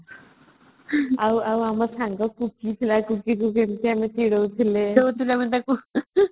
ଆଉ ଆମ ସାଙ୍ଗ କୁମପି ଥିଲା କୁମପି କୁ ଆମେ ଚିଡଉଥିଲେ ଆମେ ତାକୁ